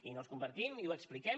i no els compartim i ho expliquem